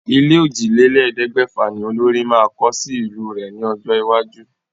Ilé òjìlélẹ̀ẹ́dẹ́gbẹ̀fà ní olórí máa kọ́ sí ìlú rẹ̀ ní ọjọ́ iwájú.